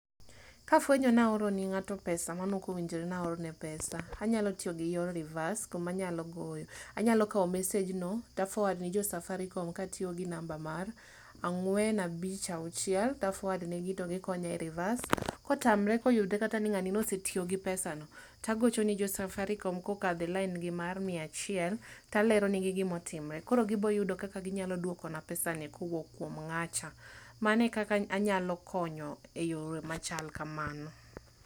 Kafwenyoni aor ne ngato maneok owinjore ni aoro ne pesa, anyalo tiyo gi yor reverse, kuma anyalo goyo. Anyalo kao message no to a foward ne jo Safaricom katiyo gi namba mar angwen abich auchiel to af oward ne gi to gikonya e reverse. Ka otamore koyudo kata ni ngani ne osetiyo gi pesa ni to agochone Safaricom kokadho e nambagi mar mia achiel, talero negi gima otimore, koro gibo yudo kaka ginyalo duokona pesani kowuok kuom ngacha, mano ekaka anyalo konyo e yoo machal kamano